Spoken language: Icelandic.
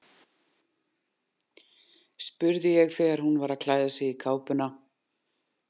spurði ég þegar hún var að klæða sig í kápuna.